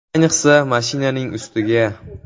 Ayniqsa, mashinaning ustiga.